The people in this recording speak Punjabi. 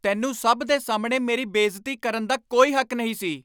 ਤੈਨੂੰ ਸਭ ਦੇ ਸਾਹਮਣੇ ਮੇਰੀ ਬੇਇੱਜ਼ਤੀ ਕਰਨ ਦਾ ਕੋਈ ਹੱਕ ਨਹੀਂ ਸੀ।